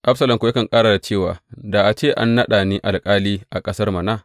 Absalom kuwa yakan ƙara da cewa, Da a ce an naɗa ni alƙali a ƙasar mana!